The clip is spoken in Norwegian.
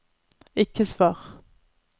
ikke svar